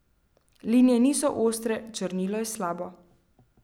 Linije niso ostre, črnilo je slabo.